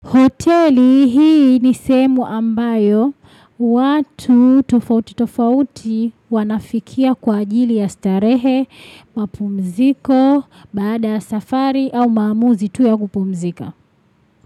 Hoteli hii ni sehemu ambayo watu tofauti tofauti wanafikia kwa ajili ya starehe, mapumziko, baada ya safari au maamuzi tu ya kupumzika.